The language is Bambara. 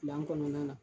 Gilan kɔnɔna na